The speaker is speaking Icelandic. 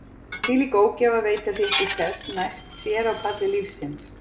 Þvílík ógæfa að veita því ekki sess næst sér á palli lífsins.